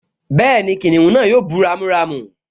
Bẹ́ẹ̀ni, kìnìún náà yóò bú ramúramù